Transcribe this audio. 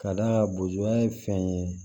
Ka d'a kan boa ye fɛn ye